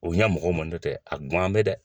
O ɲɛ mɔgɔw man nɔtɛ a kun gan bɛ dɛ.